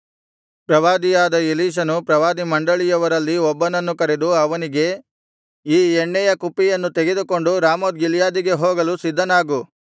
ಪ್ರವಾದಿಯಾದ ಎಲೀಷನು ಪ್ರವಾದಿಮಂಡಳಿಯವರಲ್ಲಿ ಒಬ್ಬನನ್ನು ಕರೆದು ಅವನಿಗೆ ಈ ಎಣ್ಣೆಯ ಕುಪ್ಪಿಯನ್ನು ತೆಗೆದುಕೊಂಡು ರಾಮೋತ್ ಗಿಲ್ಯಾದಿಗೆ ಹೋಗಲು ಸಿದ್ಧನಾಗು